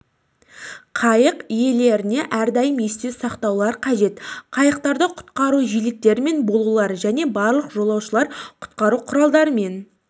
қайық иелеріне әрдайым есте сақтаулар қажет қайықтарда құтқару жилеттерімен болулары және барлық жолаушыларды құтқару құралдарымен